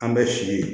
An bɛ si ye